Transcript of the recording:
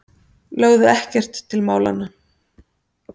Lögðu ekkert til málanna.